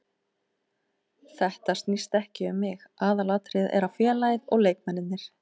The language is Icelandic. Þetta snýst ekki um mig, aðalatriðið er félagið og leikmennirnir.